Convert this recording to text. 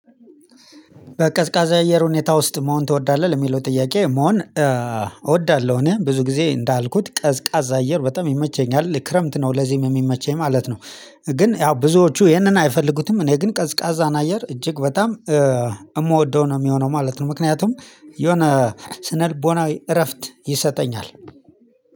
በቀዝቃዛ አየር ሁኔታ ውስጥ መሆን ትወዳለህ የሚለው ጥያቄ መሆን? እወዳለሁኝ ብዙ ጊዜ እንዳልኩት ቀዝቃዛ አየር በጣም ይመቸኛል ክረምት ነው ለዚህም የሚመቸኝ ማለት ነው። ግን ያው ብዙዎቹ ይሄንን አይፈልጉትም እኔ ግን ቀዝቃዛን አየር እጅግ በጣም የምወደው ነው የሚሆነው ማለት ነው። ምክንያቱም የሆነ ስነልቦናዊ እረፍት ይሰጠኛል።